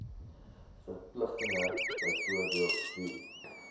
verpligtinge byvoorbeeld wie